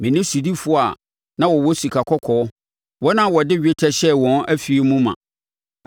me ne sodifoɔ a na wɔwɔ sika kɔkɔɔ, wɔn a wɔde dwetɛ hyɛɛ wɔn afie mu ma.